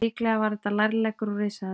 Líklega var þetta lærleggur úr risaeðlu.